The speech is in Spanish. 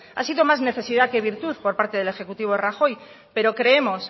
ha sido más necesidad que virtud por parte del ejecutivo de rajoy pero creemos